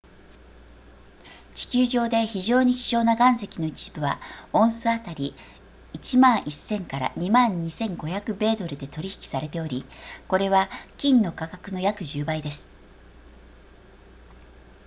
地球上で非常に希少な岩石の一部はオンス当たり 11,000～22,500 米ドルで取引されておりこれは金の価格の約10倍です